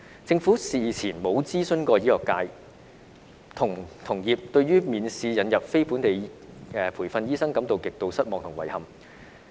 政府事前沒有諮詢醫學界，同業對於免試引入非本地培訓醫生感到極度失望及遺憾。